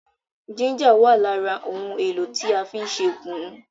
Jínjà wà lára àwọn ohun èlò tí a fí n ṣe kùnú